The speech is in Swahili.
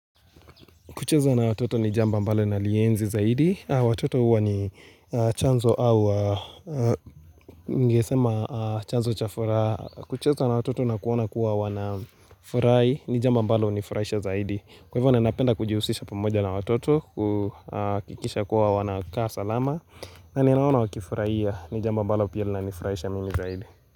Kucheza na watoto ni jambo ambalo nalienzi zaidi Watoto huwa ni chanzo au ningesema chanzo cha furaha kucheza na watoto na kuona kuwa wanafurahi ni jambo ambalo hunifuraisha zaidi Kwa hivyo ninapenda kujihusisha pamoja na watoto hakikisha kuwa wanakaa salama na ninaona wakifurahia ni jambo ambalo pia linanifuraisha mimi zaidi.